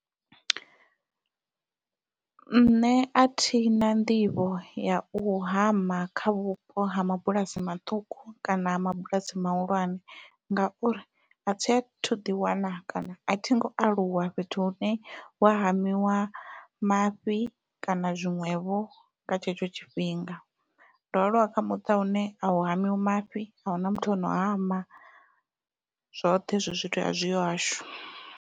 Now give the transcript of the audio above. Nṋe athina nḓivho yau hama kha vhupo ha mabulasi maṱuku kana ha mabulasi mahulwane ngauri athi athu ḓi wana kana athi ngo aluwa fhethu hune hua hamiwa mafhi kana zwiṅwevho nga tshetsho tshifhinga, ndo aluwa kha muṱa une au hamiwa mafhi ahuna muthu ono hama zwoṱhe hezwo zwithu azwiho hahashu.